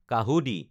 কাহুঁদি